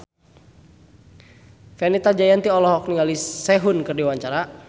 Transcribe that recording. Fenita Jayanti olohok ningali Sehun keur diwawancara